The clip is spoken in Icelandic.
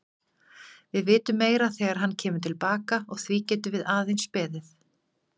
Við vitum meira þegar hann kemur til baka og því getum við aðeins beðið.